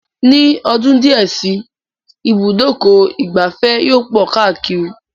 Ní ọdún díẹ̀ si, ibùdó ìgbafẹ́ yóò pọ̀ káàkiri